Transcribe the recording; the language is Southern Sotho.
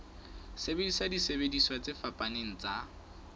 sebedisa disebediswa tse fapaneng tsa